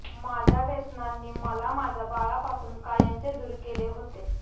माझ्या व्यसनांनी मला माझ्या बाळापासून कायमचे दूर केले होते